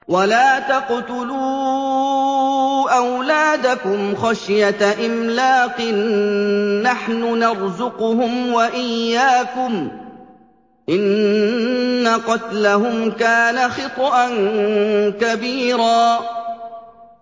وَلَا تَقْتُلُوا أَوْلَادَكُمْ خَشْيَةَ إِمْلَاقٍ ۖ نَّحْنُ نَرْزُقُهُمْ وَإِيَّاكُمْ ۚ إِنَّ قَتْلَهُمْ كَانَ خِطْئًا كَبِيرًا